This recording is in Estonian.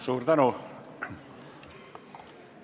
Suur tänu!